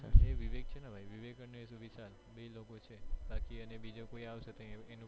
વિવેક છે ને વિવેક ભાઈ વિવેક અને બે લોકો છે બાકી અને બીજું કોઈ આવશે તો એનું લઇ ને જવાનું